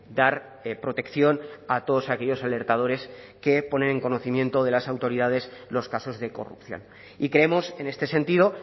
dar protección a todos aquellos alertadores que ponen en conocimiento de las autoridades los casos de corrupción y creemos en este sentido